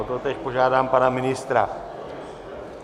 O to též požádám pana ministra.